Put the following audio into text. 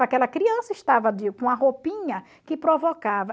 Aquela criança estava de com a roupinha que provocava.